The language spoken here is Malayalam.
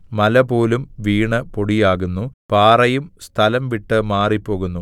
മലപോലും വീണു പൊടിയുന്നു പാറയും സ്ഥലം വിട്ട് മാറിപ്പോകുന്നു